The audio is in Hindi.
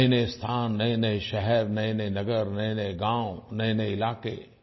नयेनये स्थान नयेनये शहर नयेनये नगर नयेनये गाँव नयेनये इलाके